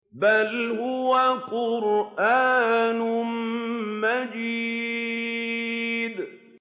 بَلْ هُوَ قُرْآنٌ مَّجِيدٌ